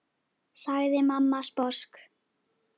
sagði mamma sposk.